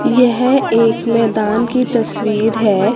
यह एक मैदान की तस्वीर है।